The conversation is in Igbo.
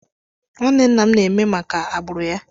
Nwanne nna m na-eme maka agbụrụ ya.